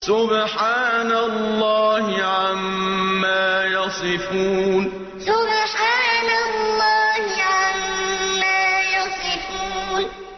سُبْحَانَ اللَّهِ عَمَّا يَصِفُونَ سُبْحَانَ اللَّهِ عَمَّا يَصِفُونَ